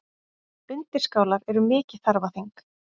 Undirskálar eru mikið þarfaþing.